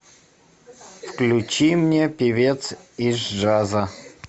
включи мне певец из джаза